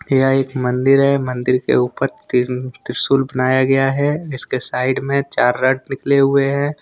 यह एक मंदिर है मंदिर के ऊपर त्रिशूल बनाया गया है इसके साइड में चार राड निकले हुए हैं।